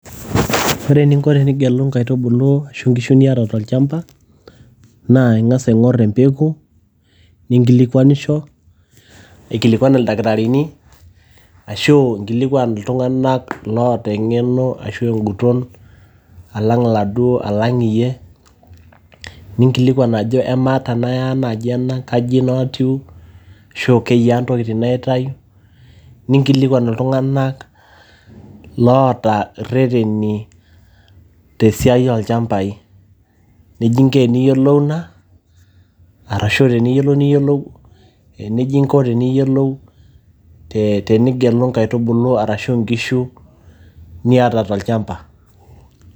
ore eninko tenigelu inkaitubulu ashu inkishu niata tolchamba naa ing'as aing'orr empeku ninkilikuanisho aikilikuan ildakitarini ashu inkilikuan iltung'anak loota eng'eno ashu enguton alang iladuo, alang iyie ninkilikuan ajo amaa tenaya naaji ena kaji ino atiu ashu keyiaa ntokitin naitayu ninkilikuan iltung'anak loota irreteni tesiai olchambai nejia inko eniyiolou ina arashu teniyiolou, niyiolou ee nejia inko teniyiolou tenigelu inkaitubulu arashu inkishu niata tolchamba.